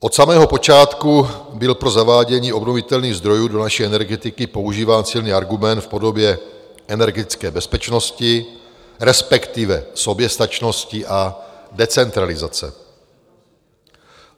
Od samého počátku byl pro zavádění obnovitelných zdrojů do naší energetiky používán silný argument v podobě energetické bezpečnosti, respektive soběstačnosti a decentralizace.